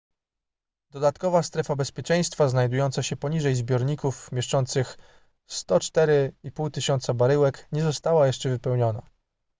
dodatkowa strefa bezpieczeństwa znajdująca się poniżej zbiorników mieszczących 104 500 baryłek nie została jeszcze wypełniona